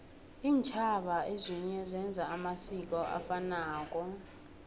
intjhaba ezinye zenza amasiko afanako